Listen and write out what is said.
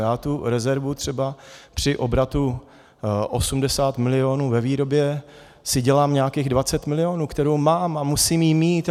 Já tu rezervu třeba při obratu 80 milionů ve výrobě si dělám nějakých 20 milionů, kterou mám a musím ji mít.